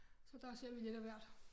Så der ser vi lidt af hvert